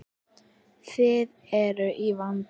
Þið eruð í vanda.